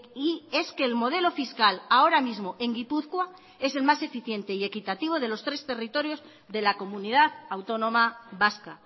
y es que el modelo fiscal ahora mismo en gipuzkoa es el más eficiente y equitativo de los tres territorios de la comunidad autónoma vasca